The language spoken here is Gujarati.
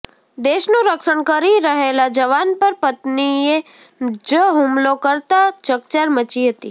દેશનુ રક્ષણ કરી રહેલા જવાન પર પત્નીએ જ હુમલો કરતા ચકચાર મચી હતી